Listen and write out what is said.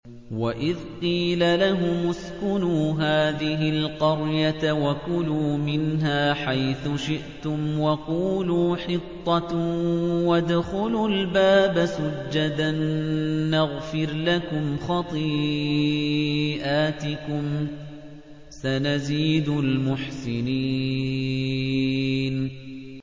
وَإِذْ قِيلَ لَهُمُ اسْكُنُوا هَٰذِهِ الْقَرْيَةَ وَكُلُوا مِنْهَا حَيْثُ شِئْتُمْ وَقُولُوا حِطَّةٌ وَادْخُلُوا الْبَابَ سُجَّدًا نَّغْفِرْ لَكُمْ خَطِيئَاتِكُمْ ۚ سَنَزِيدُ الْمُحْسِنِينَ